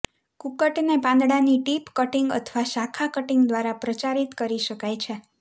કુકક્ટને પાંદડાની tip cutting અથવા શાખા કટીંગ દ્વારા પ્રચારિત કરી શકાય છે